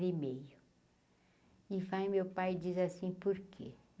E meio e vai, meu pai, e diz assim, por quê?